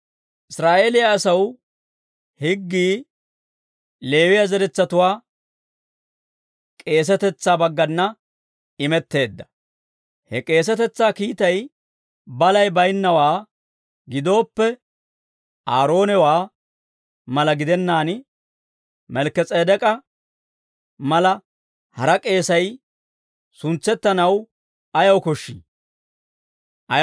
Israa'eeliyaa asaw higgii Leewiyaa zeretsatuwaa k'eesetetsaa baggana imetteedda. He k'eesetetsaa kiitay balay baynnawaa gidooppe, Aaroonawaa mala gidennaan Malkki-S'edek'k'a mala hara k'eesay suntsettanaw ayaw koshshii?